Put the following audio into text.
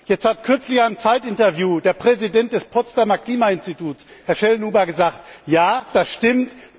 Jetzt hat kürzlich in einem Zeit Interview der Präsident des Potsdamer Klimainstituts, Herr Schellnhuber, gesagt Ja, das stimmt.